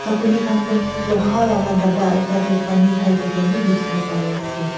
sakuli khan toh loha laka dapa ekta tae pani khaithaka bi dikhiwo pariase.